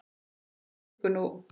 Þarna liggur nú